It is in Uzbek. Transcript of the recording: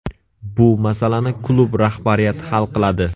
Bu masalani klub rahbariyati hal qiladi.